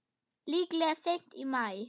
Líklega seint í maí.